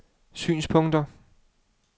synspunkter